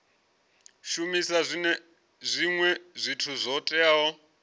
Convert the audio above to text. shumisa zwinwe zwithu zwo teaho